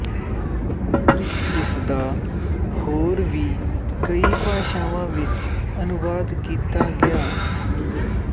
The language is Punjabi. ਇਸਦਾ ਹੋਰ ਵੀ ਕਈ ਭਾਸ਼ਾਵਾਂ ਵਿੱਚ ਅਨੁਵਾਦ ਕੀਤਾ ਗਿਆ